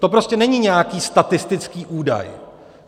To prostě není nějaký statistický údaj.